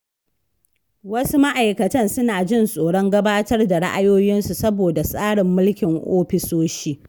Wasu ma’aikatan suna jin tsoron gabatar da ra’ayoyinsu saboda tsarin mulkin ofisoshi.